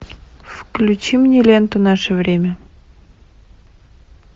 включи мне ленту наше время